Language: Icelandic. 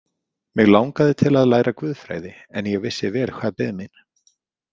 Mig langaði til að læra guðfræði en ég vissi vel hvað beið mín.